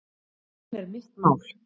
Hann er mitt mál.